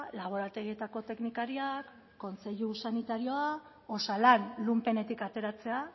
laborategietako teknikariak kontseilu sanitarioa osalan lunpenetik ateratzea